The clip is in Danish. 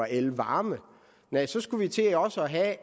elvarme næh så skulle vi til også at have